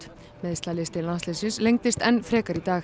meiðslalisti landsliðsins lengdist enn frekar í dag